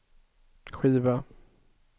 skiva